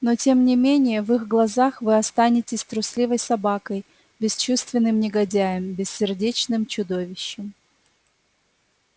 но тем не менее в их глазах вы останетесь трусливой собакой бесчувственным негодяем бессердечным чудовищем